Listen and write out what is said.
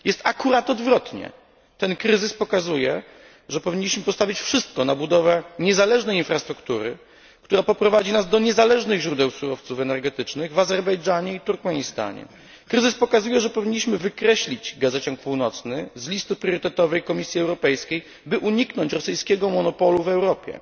Jest akurat odwrotnie. Ten kryzys pokazuje, że powinniśmy postawić wszystko na budowę niezależnej infrastruktury, która poprowadzi nas do niezależnych źródeł surowców energetycznych w Azerbejdżanie i Turkmenistanie. Kryzys pokazuje, że powinniśmy wykreślić gazociąg północny z listy priorytetowej Komisji Europejskiej, by uniknąć rosyjskiego monopolu w Europie.